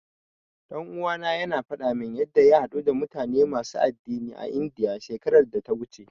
Ɗan uwana yana faɗa min yanda ya haɗu da mutane masu addinai a Indiya, shekarar da ta wuce.